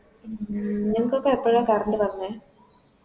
ഉം നിങ്ക്കൊക്കെ എപ്പഴാ Current വന്നെ